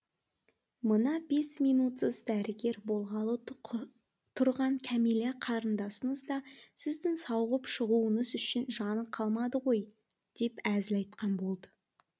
мына бес минутсыз дәрігер болғалы тұрған кәмилә қарындасыңыз да сіздің сауығып шығуыңыз үшін жаны қалмады ғой деп әзіл айтқан болды